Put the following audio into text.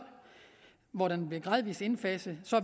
hvor det bliver gradvis indfaset